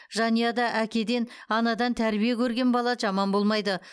жанұяда әкеден анадан тәрбие көрген бала жаман болмайды